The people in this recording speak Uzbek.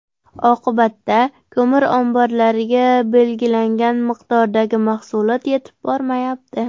Oqibatda, ko‘mir omborlariga belgilangan miqdordagi mahsulot yetib bormayapti.